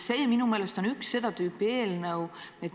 See on minu meelest üks seda tüüpi eelnõu.